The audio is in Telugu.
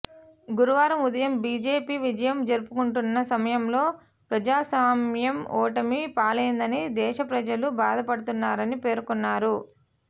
గురువారం ఉదయం బిజెపి విజయం జరుపుకుంటున్న సమయంలో ప్రజాస్వామ్యం ఓటమి పాలైందని దేశప్రజలు బాధపడుతున్నారని పేర్కొన్నారు